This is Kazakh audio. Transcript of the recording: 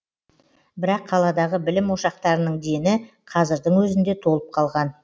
бірақ қаладағы білім ошақтарының дені қазірдің өзінде толып қалған